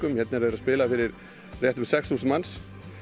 hérna eru þeir að spila fyrir svona sex þúsund manns